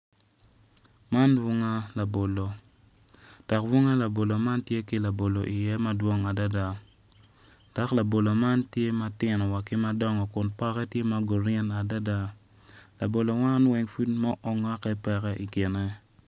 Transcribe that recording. Man bunga labolo dok bunga labolo man tye ki labolo iye madwong adada dok labolo man tye matino wa ki madongo kun poke tye ma grin adadalabolo man weng pud ma ongokke pe i kine.